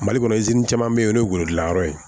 Mali kɔnɔ caman bɛ yen o ye golodilanyɔrɔ ye